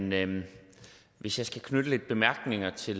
men hvis jeg skal knytte lidt bemærkninger til